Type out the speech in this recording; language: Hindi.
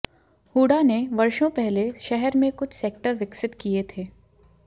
हूडा ने वर्षो पहले शहर में कुछ सेक्टर विकसित किए थे